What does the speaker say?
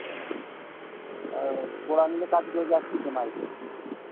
এহ পুরান যে কাজ করে যাত্রী তো নাই